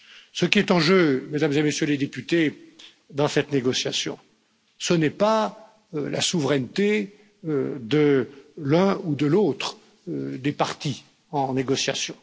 Ce qui est en jeu, Mesdames et Messieurs les députés, dans cette négociation, ce n'est pas la souveraineté de l'une ou de l'autre des parties en négociation.